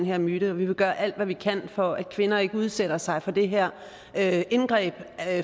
her myte vi vil gøre alt hvad vi kan for at kvinder ikke udsætter sig for det her her indgreb